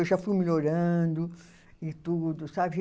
Eu já fui melhorando e tudo, sabe?